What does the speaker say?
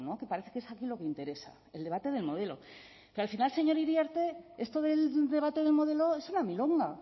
que parece que es aquí lo que interesa el debate del modelo que al final señor iriarte esto del debate del modelo es una milonga